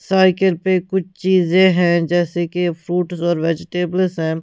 Cycle पे कुछ चीजें हैं जैसे कि फ्रूट्स और वेजिटेबल्स हैं।